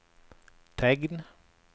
tegn